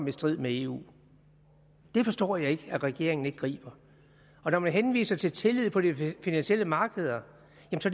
i strid med eu det forstår jeg ikke at regeringen ikke griber når man henviser til tillid på de finansielle markeder